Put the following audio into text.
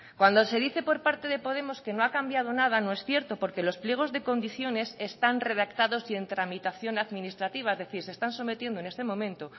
cuando se dice por parte de podemos que no ha cambiado nada no es cierto porque los pliegos de condiciones están redactados y en tramitación administrativa es decir se están sometiendo en este momento